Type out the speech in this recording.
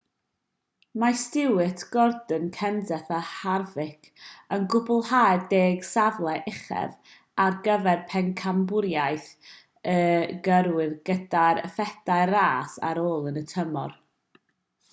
mae stewart gordon kenseth a harvick yn cwblhau'r deg safle uchaf ar gyfer pencampwriaeth y gyrwyr gyda phedair ras ar ôl yn y tymor